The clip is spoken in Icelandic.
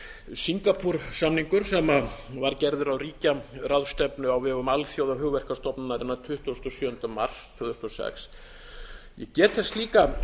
singapúr samningur sem var gerður á ríkjaráðstefnu á vegum alþjóðahugverkastofnunarinnar tuttugasta og sjöunda mars tvö þúsund og sex ég get þess líka